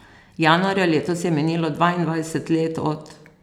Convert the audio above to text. Januarja letos je minilo dvaindvajset let od...